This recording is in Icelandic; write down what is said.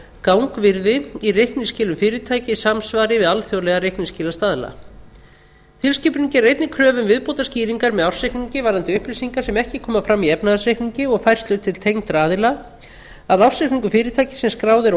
gangvirði í reikningsskilum fyrirtækja í samræmi við alþjóðlega reikningsskilastaðla tilskipunin gerir einnig kröfur um viðbótarskýringar með ársreikningi varðandi upplýsingar sem ekki koma fram í efnahagsreikningi og færslur til tengdra aðila að ársreikningur fyrirtækis sem skráð er á